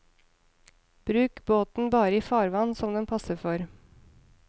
Bruk båten bare i farvann som den passer for.